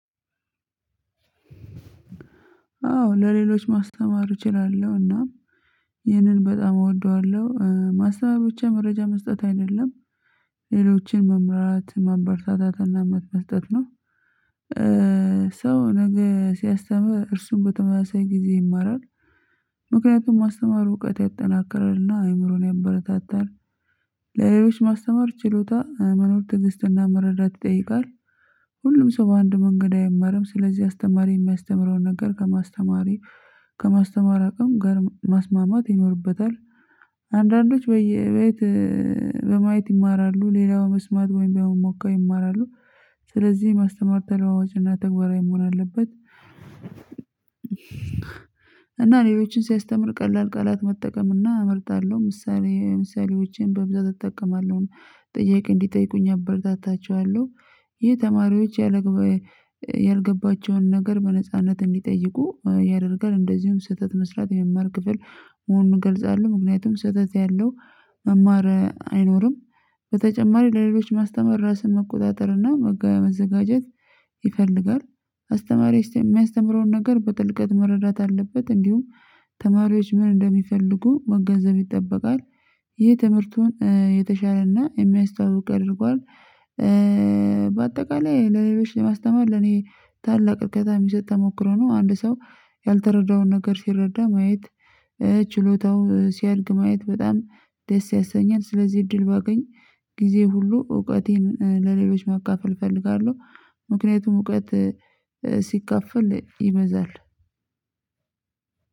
አዎ ለሌሎች ማስተማር እችላለሁ እና ይህንን በጣም እወደዋለሁ ማሰተማር ብቻ መረጃ መስጠት አይደለም ሌሎችን መምህራት ማበርታታትና መብት መስተት ነው። ሰው ነገ ሲያስተምር እርሱን በተመሳሳይ ጊዜ ይማራል። ምክንያቱም ማስተማር እውቀት ያጠናክራልና አእምሮን ያበረታታል። ለሌሎች ማስተማር ችሎታ መኖር ትንሽ እና መረዳት ይጠይቃል። ሁሉም ሰው በአንድ መንገድ አይማርም ስለዚህ አስተማሪ የሚያስተምረውን ነገር ከማስተማሪ ከማስተማር አቅም ጋር ማስማማት ይኖርበታል። አንዳንዶች በየቤት በማየት ይማራሉ ሌላው መስማት ወይም በመሞከር ይማራሉ። ስለዚህ የማስተማር ተለዋዋጭ እና ተግባራዊ መሆን አለበት። እና ሌሎችን ሲያስተምር ቀላል ቃላት መጠቀም እና እመርጣለሁ ምሳሌ ምሳሌዎቼን በብዛት እጠቀማለሁ ጥያቄ እንዲጠይቁኝ አበረታታቸዋለሁ። ይህ ተማሪዎች ያልገባቸውን ነገር በነጻነት እንዲጠይቁ ያደርጋል እንደዚሁም ስህተት መስራት የመማር ክፍል መሆኑን እገልጻለሁ ምክንያቱም ስህተት ያለው መማር አይኖርም። በተጨማሪ ለሌሎች ማስተመር ራስን መቆጣጠር እና መጋቢያ መዘጋጀት ይፈልጋል። አስተማሪ የሚያስተምረውን ነገር በጥልቀት መረዳት አለበት እንዲሁም ተማሪዎች ምን እንደሚፈልጉ መገንዘብ ይጠበቃል። ይህ ትምህርቱን የተሻለና የሚያስታውቅ ያድርገዋል። በአጠቃላይ ለሌሎች ለማስተማር ለኔ ታላቅ እከዛም የሚሰጥ ተሞክሮ ነው አንድ ሰው ያልተረዳውን ነገር ሲረዳ ማየት ችሎታው ሲያድግ ማየት በጣም ደስ ያሰኛል። ስለዚህ እድል ባገኝ ጊዜ ሁሉ እውቀቴን ለሌሎች ማካፈል እፈልጋለሁ። ምክንያቱም እውቀት ሲካፈል ይመዛል።